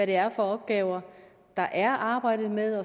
det er for opgaver der er arbejdet med